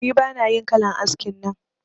Ni bana yin kalan askin nan